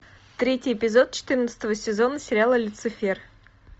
третий эпизод четырнадцатого сезона сериала люцифер